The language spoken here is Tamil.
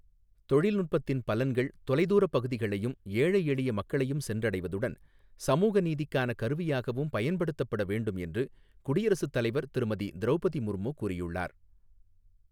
தொழில்நுட்பத்தின் பலன்கள் தொலைதூரப் பகுதிகளையும், ஏழை எளிய மக்களையும் சென்றடைவதுடன், சமூக நீதிக்கான கருவியாகவும் பயன்படுத்தப்பட வேண்டும் என்று குடியரசுத் தலைவர் திருமதி திரௌபதி முர்மு கூறியுள்ளார்.